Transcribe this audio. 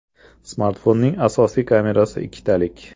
Smartfonning asosiy kamerasi ikkitalik.